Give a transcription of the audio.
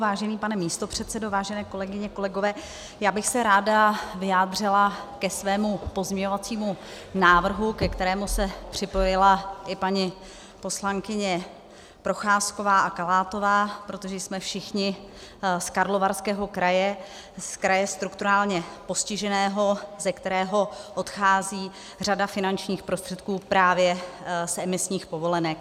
Vážený pane místopředsedo, vážené kolegyně, kolegové, já bych se ráda vyjádřila k svému pozměňovacímu návrhu, ke kterému se připojila i paní poslankyně Procházková a Kalátová, protože jsme všichni z Karlovarského kraje, z kraje strukturálně postiženého, ze kterého odchází řada finančních prostředků právě z emisních povolenek.